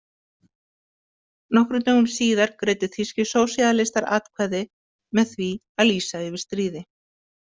Nokkrum dögum síðar greiddu þýskir sósíalistar atkvæði með því að lýsa yfir stríði.